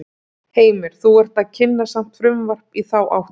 Heimir: Þú ert að kynna samt frumvarp í þá áttina?